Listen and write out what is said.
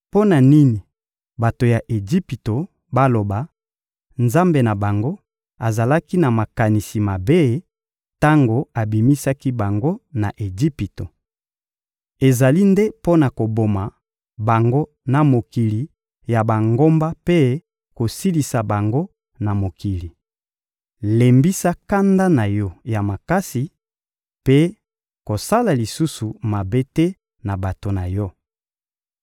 Mpo na nini bato ya Ejipito baloba: «Nzambe na bango azalaki na makanisi mabe tango abimisaki bango na Ejipito. Ezali nde mpo na koboma bango na mokili ya bangomba mpe kosilisa bango na mokili.» Lembisa kanda na Yo ya makasi mpe kosala lisusu mabe te na bato na Yo.